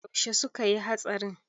Yaushe suka yi hatsarin?